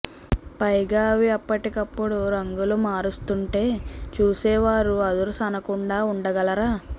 పైగా అవి అప్పటికప్పుడు రంగులు మారుస్తుంటే చూసేవారు అదుర్స్ అనకుండా ఉండగలరా